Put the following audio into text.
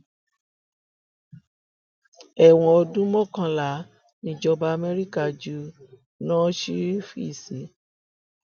ẹwọn ọdún mọkànlá nìjọba amẹríkà ju hushhvili sí